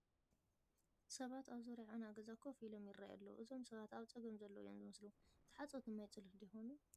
ሰባት ኣብ ዙርያ ዑና ገዛ ኮፍ ኢሎም ይርአዩ ኣለዊ፡፡ እዞም ሰባት ኣብ ፀገም ዘለዉ እዮም ዝመስሉ፡፡ ተሓፀብቲ ማይፀሎት ዶ ይኾኑ?